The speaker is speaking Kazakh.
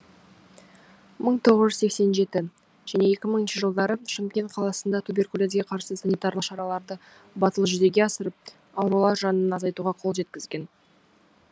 бір мың тоғыз жүз сенсен жетінші және екі мыңыншы жылдары шымкент қаласында туберкулезге қарсы санитарлық шараларды батыл жүзеге асырып аурулар жанын азайтуға қол жеткізген